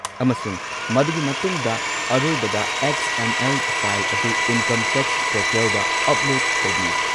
ꯑꯃꯁꯨꯡ ꯃꯗꯨꯒꯤ ꯃꯇꯨꯡꯗ ꯑꯔꯣꯏꯕꯗ ꯑꯦꯛꯁ. ꯑꯦꯝ. ꯑꯦꯜ. ꯐꯥꯏꯜ ꯑꯗꯨ ꯏꯟꯀꯝ ꯇꯦꯛꯁ ꯄꯣꯔꯇꯦꯜꯗ ꯑꯞꯂꯣꯗ ꯇꯧꯕꯤꯌꯨ꯫